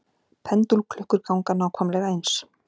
Pendúlklukkur ganga nákvæmlega eins.